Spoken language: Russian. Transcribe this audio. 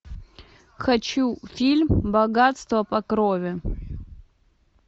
хочу фильм богатство по крови